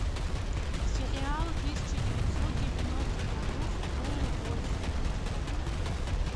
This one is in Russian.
сериалы тысяча девятьсот девяностых годов про любовь